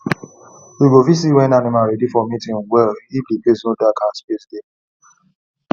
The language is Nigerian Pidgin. you go fit see when animal ready for mating well if the place no dark and space dey